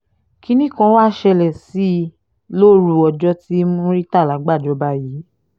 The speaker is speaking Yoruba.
kínní kan wàá ṣẹlẹ̀ sí i lóru ọjọ́ tí murità gbàjọba yìí